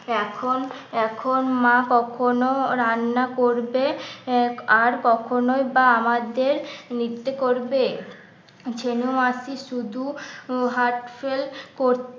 এখন এখন মা কখনো রান্না করবে আর কখনোই বা আমাদের নৃত্য করবে ছেনু মাসি শুধু heart fail করতে